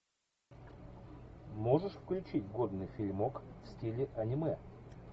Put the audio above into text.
можешь включить годный фильмок в стиле аниме